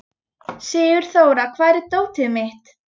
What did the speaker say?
Sigurþóra, hvar er dótið mitt?